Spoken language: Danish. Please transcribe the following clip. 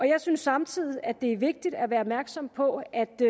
jeg synes samtidig at det er vigtigt at være opmærksom på at det